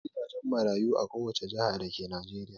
Akwai gidajen marayu a kowace jiha dake Najeriya.